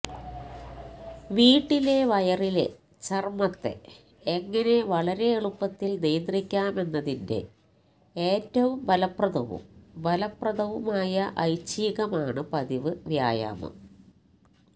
വീട്ടിലെ വയറിലെ ചർമ്മത്തെ എങ്ങനെ വളരെ എളുപ്പത്തിൽ നിയന്ത്രിക്കാമെന്നതിന്റെ ഏറ്റവും ഫലപ്രദവും ഫലപ്രദവുമായ ഐച്ഛികമാണ് പതിവ് വ്യായാമം